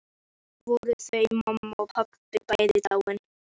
Þá voru þau mamma og pabbi bæði dáin.